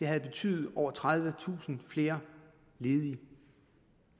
havde betydet over tredivetusind flere ledige